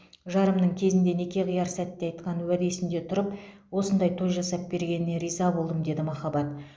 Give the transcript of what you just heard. жарымның кезінде неке қияр сәтте айтқан уәдесінде тұрып осындай той жасап бергеніне риза болдым деді махаббат